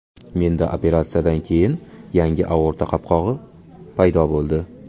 Menda operatsiyadan keyin yangi aorta qopqog‘i paydo bo‘ldi.